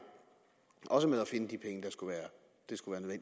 også med at finde de penge det skulle være